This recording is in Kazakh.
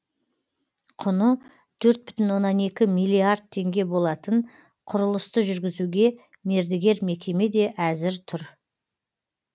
құны төрт бұтін оннан екі миллиард теңге болатын құрылысты жүргізуге мердігер мекеме де әзір тұр